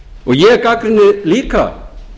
ég gagnrýni líka